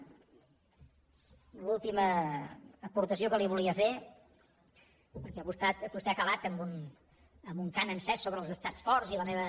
l’última aportació que li volia fer perquè vostè ha acabat amb un cant encès sobre els estats forts i la meva